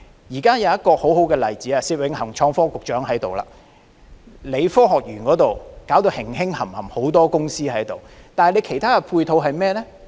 現在有一個很好的例子——創新及科技局局長薛永恒在這裏——科學園的發展如火如荼，有很多公司進駐，但有何其他配套呢？